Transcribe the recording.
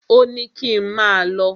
Ò ní kín máà lọ.